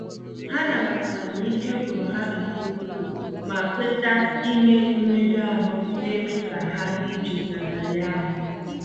Ha nabatara n'ike gwụrụ ha nke ukwuu, ma kweta ime mmega ahụ na-eme ka ha dị jụụ n'abalị ahụ.